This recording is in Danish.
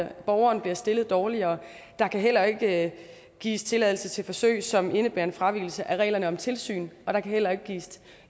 at borgeren bliver stillet dårligere der kan heller ikke gives tilladelse til forsøg som indebærer en fravigelse af reglerne om tilsyn og der kan heller ikke gives